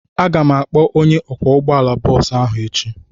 Aga m akpọ onye ọkwọ ụgbọala bọọsụ ahụ echi.